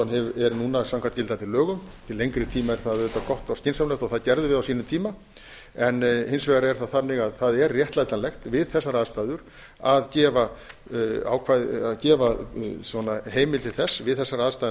hann er núna samkvæmt gildandi lögum til lengri tíma er það auðvitað gott og skynsamlegt og það gerðum við á sínum tíma en hins vegar er það þannig að það er réttlætanlegt við þessar aðstæður að gefa heimild til þess við þessar aðstæður